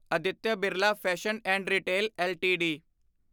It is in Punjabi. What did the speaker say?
Aditya Birla fashion and retail LTD